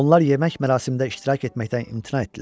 Onlar yemək mərasimində iştirak etməkdən imtina etdilər.